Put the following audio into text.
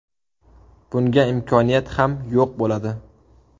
Bunga imkoniyat ham yo‘q bo‘ladi.